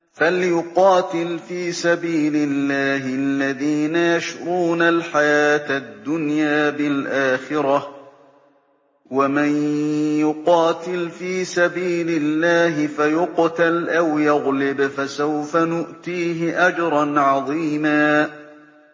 ۞ فَلْيُقَاتِلْ فِي سَبِيلِ اللَّهِ الَّذِينَ يَشْرُونَ الْحَيَاةَ الدُّنْيَا بِالْآخِرَةِ ۚ وَمَن يُقَاتِلْ فِي سَبِيلِ اللَّهِ فَيُقْتَلْ أَوْ يَغْلِبْ فَسَوْفَ نُؤْتِيهِ أَجْرًا عَظِيمًا